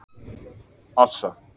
Assa